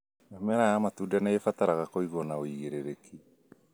Mĩmera ya matunda nĩĩbataraga kũigwo na ũigĩrĩrĩki